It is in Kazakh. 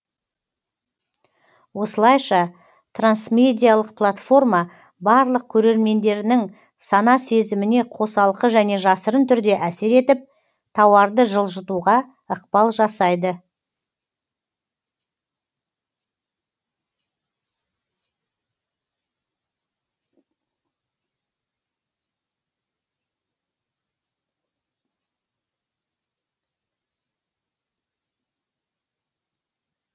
осылайша трансмедиалық платформа барлық көрермендерінің сана сезіміне қосалқы және жасырын түрде әсер етіп тауарды жылжытуға ықпал жасайды